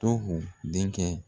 Tohu denkɛ.